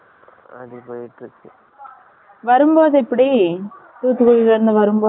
வரும்போது எப்படி? தூத்துக்குடியில இருந்து வரும்போது